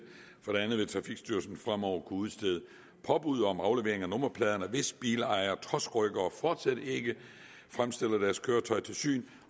andet vil trafikstyrelsen fremover kunne udstede påbud om aflevering af nummerpladerne hvis bilejere trods rykkere fortsat ikke fremstiller deres køretøj til syn